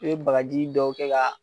I be bagaji dɔw kɛ k'a